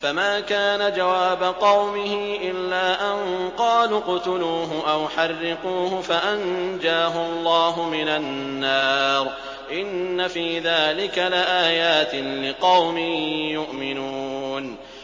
فَمَا كَانَ جَوَابَ قَوْمِهِ إِلَّا أَن قَالُوا اقْتُلُوهُ أَوْ حَرِّقُوهُ فَأَنجَاهُ اللَّهُ مِنَ النَّارِ ۚ إِنَّ فِي ذَٰلِكَ لَآيَاتٍ لِّقَوْمٍ يُؤْمِنُونَ